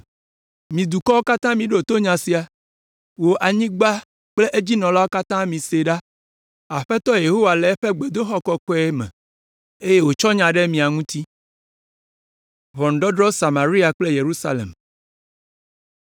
Mi dukɔwo katã miɖo to nya sia, wò anyigba kple edzinɔlawo katã mise ɖa; Aƒetɔ Yehowa le eƒe gbedoxɔ kɔkɔe me eye wòtsɔ nya ɖe mia ŋuti!